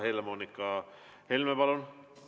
Helle-Moonika Helme, palun!